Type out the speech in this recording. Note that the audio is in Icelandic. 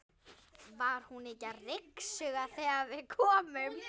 Var hún ekki að ryksuga þegar við komum?